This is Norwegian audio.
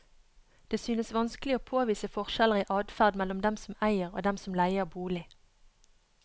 Det synes vanskelig å påvise forskjeller i adferd mellom dem som eier og dem som leier bolig.